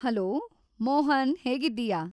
Hello, Mohan ಹೇಗಿದ್ದೀಯಾ?